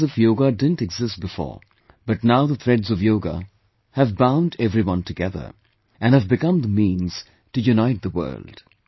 It isn't as if Yoga didn't exist before, but now the threads of Yoga have bound everyone together, and have become the means to unite the world